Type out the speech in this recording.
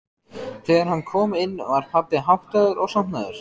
Þegar hann kom inn var pabbi háttaður og sofnaður.